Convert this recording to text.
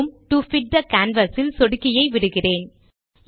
zoom to fit the canvas ல் சொடுக்கியை விடுகிறேன்